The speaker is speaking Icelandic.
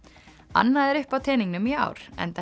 annað er uppi á teningnum í ár enda